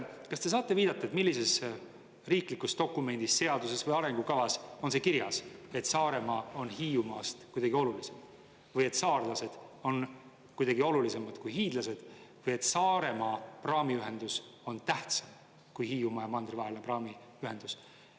Kas te saate viidata, millises riiklikus dokumendis, seaduses või arengukavas on see kirjas, et Saaremaa on Hiiumaast kuidagi olulisem või et saarlased on kuidagi olulisemad kui hiidlased või et Saaremaa praamiühendus on tähtsam kui Hiiumaa ja mandri vahelise praami ühendus?